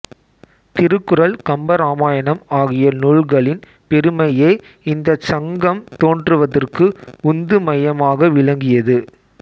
திருக்குறள் கம்பராமாயணம் ஆகிய நூல்களின் பெருமையே இந்தச் சங்கம் தோன்றுவதற்கு உந்து மையமாக விளங்கியது